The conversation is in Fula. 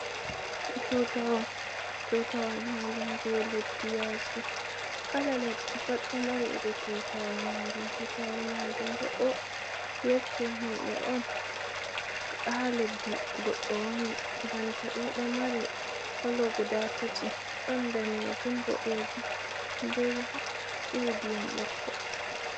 Tutawal: Tutawal majum je leddi yaasi kala leddi pat ɗo mari iri tutawol majum. Tutawol majum bo ɗo yecce himɓe on haa leddi goɗɗo woni banta ɗo ɗo mari kolo guda tati don danejum, boɗejum, be iri ndiyam ɓokko-ɓokko.